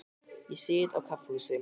Ég sit á kaffihúsi.